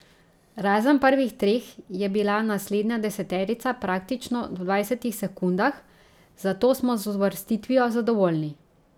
Razen prvih treh je bila naslednja deseterica praktično v dvajsetih sekundah, zato smo z uvrstitvijo zadovoljni.